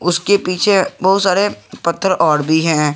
उसके के पीछे बहुत सारे पत्थर और भी हैं।